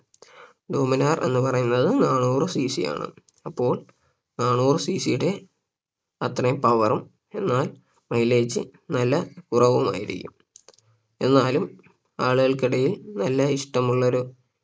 Dominar എന്ന് പറയുന്നത് നാനൂറ് CC ആണ് അപ്പോൾ നാനൂറ് CC യുടെ അത്രയും Power ഉം എന്നാൽ mileage നല്ല കുറവുമായിരിക്കും എന്നാലും ആളുകൾക്കിടയിൽ നല്ല ഇഷ്ടമുള്ളൊരു